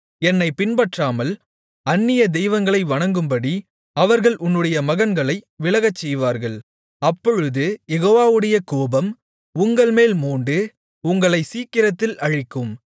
என்னைப் பின்பற்றாமல் அந்நிய தெய்வங்களை வணங்கும்படி அவர்கள் உன்னுடைய மகன்களை விலகச்செய்வார்கள் அப்பொழுது யெகோவாவுடைய கோபம் உங்கள்மேல் மூண்டு உங்களைச் சீக்கிரத்தில் அழிக்கும்